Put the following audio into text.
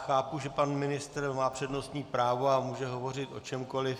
Chápu, že pan ministr má přednostní právo a může hovořit o čemkoliv.